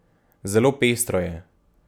Zelo pestro je.